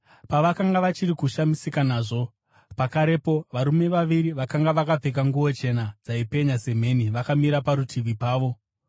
Pavakanga vachiri kushamisika nazvo, pakarepo varume vaviri vakanga vakapfeka nguo chena dzaipenya semheni vakamira parutivi pavo.